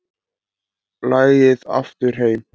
Lagið Aftur heim